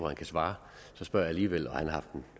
han kan svare spørger jeg alligevel og han har haft en